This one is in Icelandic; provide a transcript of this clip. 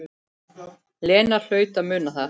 Lena hlaut að muna það.